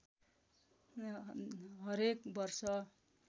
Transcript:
हरेक वर्ष